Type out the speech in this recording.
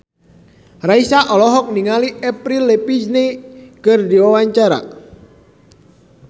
Raisa olohok ningali Avril Lavigne keur diwawancara